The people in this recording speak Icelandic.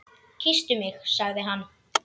Kysstu mig sagði hann.